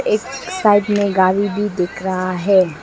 इक साइड में गाड़ी भी दिख रहा है।